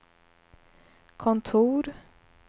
kontor